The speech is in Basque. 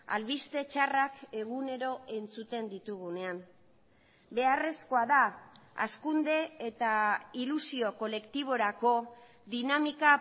albiste txarrak egunero entzuten ditugunean beharrezkoa da hazkunde eta ilusio kolektiborako dinamika